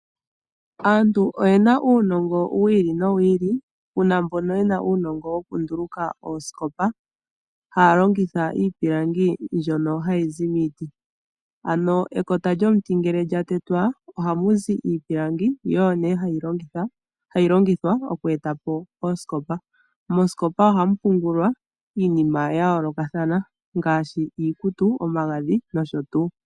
Aantu oye na uunongo wi ili nowi ili. Pu na mbono ye na uunongo wokunduluka oosikopa haya longitha iipilangi mbyono hayi zi miiti, ano ekota lyomuti ngele lya tetwa ohamu zi iipilangi yo oyo nee hayi longithwa oku eta po oosikopa. Moosikopa ohamu pungulwa iinima ya yoolokathana ngaashi iikutu, omagadhi nosho tuu.